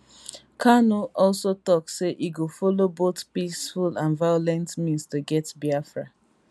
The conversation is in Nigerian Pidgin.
kanu also tok say e go follow both peaceful and violent means to get biafra